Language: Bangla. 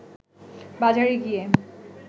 বাজারে গিয়ে